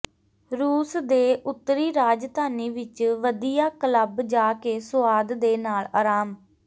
ਰੂਸ ਦੇ ਉੱਤਰੀ ਰਾਜਧਾਨੀ ਵਿੱਚ ਵਧੀਆ ਕਲੱਬ ਜਾ ਕੇ ਸੁਆਦ ਦੇ ਨਾਲ ਆਰਾਮ